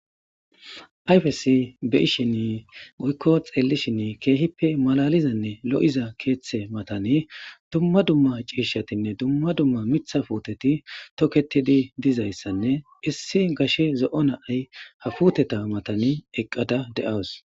ayfes beyi shini muykko xeellishin keehippe malalizanne lo7iza keeththe matani dumma dumma ciishatinne dumma dumma mitha fuuteti toketidi dizayssanne issi gashe zo7o naay hafuteta matani eqqada de7awos